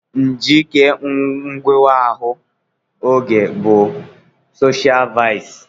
Njike nghewa ahụ oghe bụ soshial vaịsị.